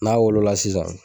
N'a wolo la sisan